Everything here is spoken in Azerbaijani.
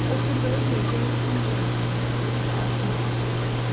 O Turqayı görcək sanki ayaqları tutuldu, addım ata bilmədi.